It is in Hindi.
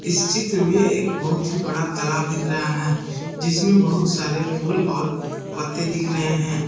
इस चित्र में एक बहुत ही बड़ा तालाब दिख रहा है जिसमें बहुत सारे फूल और पत्ते दिख रहे हैं।